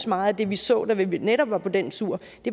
meget af det vi så da vi netop var på den tur